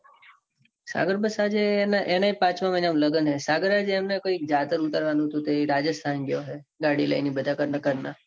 સાગર બસ આજે એને એ આજે પાંચ લગન હે. સાગર ને એને કૈક જાદવ ઉતારવાનું હતું. તે રાજસ્થાન જ્યો હે. ગાડી લઈને બધા ઘર ના ઘર ના